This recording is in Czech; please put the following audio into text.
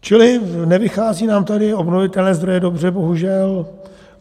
Čili nevycházejí nám tady obnovitelné zdroje dobře, bohužel.